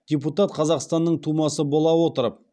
депутат қазақстанның тумасы бола отырып